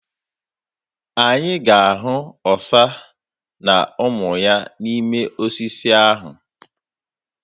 Anyị ga-ahụ ọsa na ụmụ ya n'ime osisi ahụ.